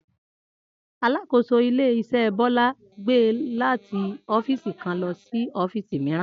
Alákòóso ilé-is̩é̩ Bó̩lá ti gbé e láti ófíìsì kan lo̩ sí ó̩fíìsì mìíràn